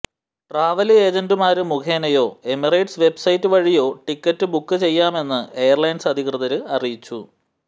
travel ഏജന്റുമാര് മുഖേനയോ Emirates website വഴിയോ ടിക്കറ്റ് ബുക്ക് ചെയ്യാമെന്ന് എയര്ലൈന്സ് അധികൃതര് അറിയിച്ചു